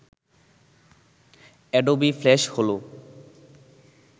Adobe Flash হল